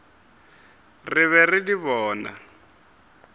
re be re di bona